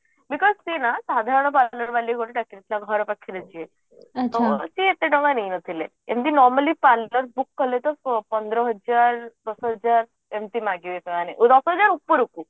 because ସିଏ ନା ସାଧାରଣ parlour ବାଲିକୁ ଗୋଟେ ଡାକି ଦେଇଥିଲା ଘର ପାଖରେ ଯିଏ ସିଏ ଏତେ ଟଙ୍କା ନେଇ ନଥିଲେ formally parlour book କଲେ ତ ପନ୍ଦର ହଜାର ଷୋହଳ ହଜାର ଏମିତେ ମାଗିବେ ସେମାନେ ଉପୁରୁକୁ